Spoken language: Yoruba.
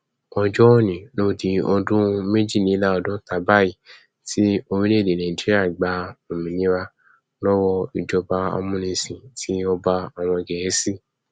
ọjọ òní ló di ọdún méjìléláàádọta báyìí tí orílẹ nàìjíríà gba òmìnira lọwọ ìjọba amúnisìn ti ọba àwọn gẹẹsì